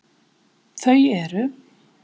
Þau eru: